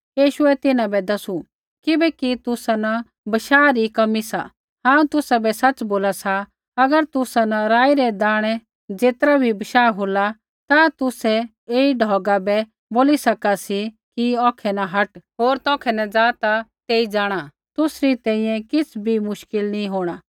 यीशुऐ तिन्हां बै दसू किबैकि तुसा न बशाह री कमी सा हांऊँ तुसाबै सच़ बोला सा अगर तुसा न राई रै दाणै ज़ेतरा बी बशाह होला ता तुसै ऐई ढौगा बै बोली सका सी कि औखै न हट होर तौखै ज़ा ता तेई जाँणा तुसरी तैंईंयैं किछ़ भी मुश्किल नी होंणा